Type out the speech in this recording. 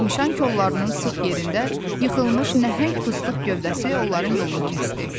Yemişan kollarının sıx yerində yıxılmış nəhəng fıstıq gövdəsi onların yolunu kəsdi.